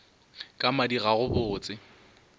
ka madi ga go botse